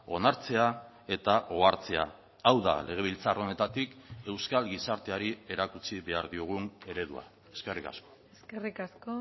onartzea eta ohartzea hau da legebiltzar honetatik euskal gizarteari erakutsi behar diogun eredua eskerrik asko eskerrik asko